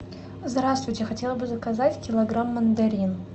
здравствуйте хотела бы заказать килограмм мандарин